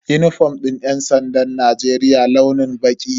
Unifom din yan sandan Najeriya launin baƙi ne.